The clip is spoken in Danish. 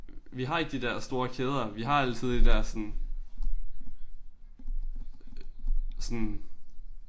Vi har ikke de der store kæder vi har altid de der sådan sådan